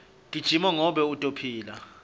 gijima ngobe utophila